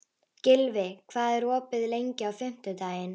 Gylfi, hvað er opið lengi á fimmtudaginn?